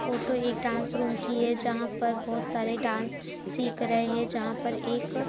photo एक dance room की हैजहां पर बहुत सारे लोग डांस सीख रहे हैं जहां पर एक--